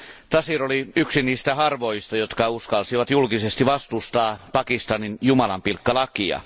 Taseer oli yksi niistä harvoista, jotka uskalsivat julkisesti vastustaa Pakistanin jumalanpilkkalakia.